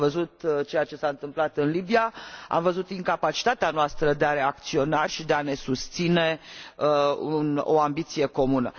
Am văzut ceea ce s a întâmplat în Libia, am văzut incapacitatea noastră de a reacționa și de a ne susține o ambiție comună.